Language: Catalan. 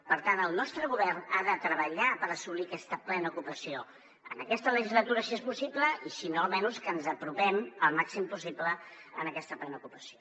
per tant el nostre govern ha de treballar per assolir aquesta plena ocupa·ció en aquesta legislatura si és possible i si no almenys que ens apropem al mà·xim possible a aquesta plena ocupació